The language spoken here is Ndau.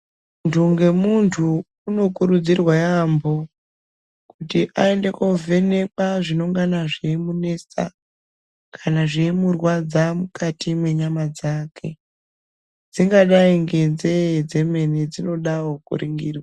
Mundu ngemundu unokurudzirwa yaambo kuti ayende kovhenekwa zvinongana zveyimunesa kana zveimurwadza mukati mwenyama dzake dzingadayi ngenzee dzemene dzinodawo kuningirwa.